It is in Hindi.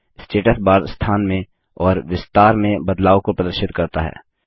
स्टेटस बार स्थान में और विस्तार में बदलाव को प्रदर्शित करता है